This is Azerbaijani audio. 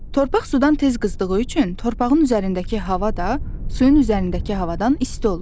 Torpaq sudan tez qızdığı üçün torpağın üzərindəki hava da, suyun üzərindəki havadan isti olur.